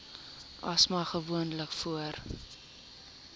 asma gewoonlik voor